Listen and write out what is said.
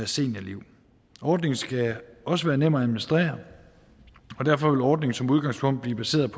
seniorliv ordningen skal også være nem at administrere og derfor vil ordningen som udgangspunkt blive baseret